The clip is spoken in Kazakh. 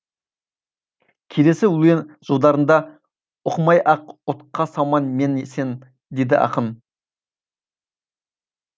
келесі өлең жолдарында оқымай ақ отқа салма мені сен дейді ақын